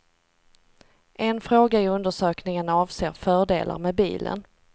En fråga i undersökningen avser fördelar med bilen.